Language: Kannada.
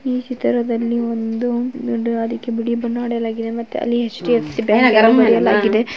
ಈ ಚಿತ್ರದಲ್ಲಿ ಒಂದು ಅದಕ್ಕೆ ಬಿಳಿ ಬಣ್ಣ ಹೊಡೆಯಲಾಗಿದೆ ಮತ್ತೆ ಅಲ್ಲಿ ಎಚ್ ಡಿ ಎಫ್ ಸಿ ಬ್ಯಾಂಕ್ --